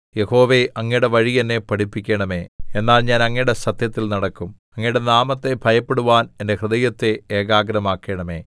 യഹോവേ അങ്ങയുടെ വഴി എന്നെ പഠിപ്പിക്കണമെ എന്നാൽ ഞാൻ അങ്ങയുടെ സത്യത്തിൽ നടക്കും അങ്ങയുടെ നാമത്തെ ഭയപ്പെടുവാൻ എന്റെ ഹൃദയത്തെ ഏകാഗ്രമാക്കണമേ